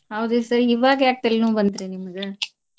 ಹೌದ್ರಿ sir ಇವಾಗ್ ಯಾಕ್ ತಲಿನೋವ್ ಬಂತ್ರಿ ನಿಮಗ?